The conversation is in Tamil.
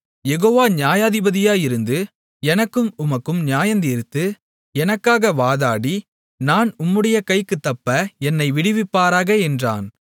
யெகோவா நியாயாதிபதியாயிருந்து எனக்கும் உமக்கும் நியாயந்தீர்த்து எனக்காக வாதாடி நான் உம்முடைய கைக்குத் தப்ப என்னை விடுவிப்பாராக என்றான்